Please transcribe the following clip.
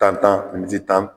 Tan tan tan